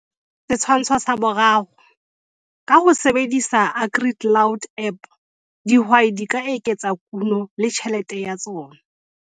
Setshwantsho sa 3. Ka ho sebedisa AgriCloud app dihwai di ka eketsa kuno le tjhelete ya tsona.